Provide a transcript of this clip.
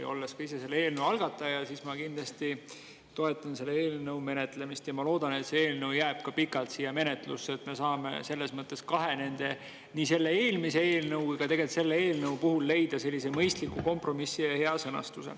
Ja olles ka ise selle algataja, ma kindlasti toetan selle menetlemist ja loodan, et see eelnõu jääb pikalt menetlusse, et me saaksime nende kahe, nii eelmise kui tegelikult ka selle eelnõu puhul leida mõistliku kompromissi ja hea sõnastuse.